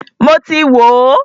Mọ ti wò ó.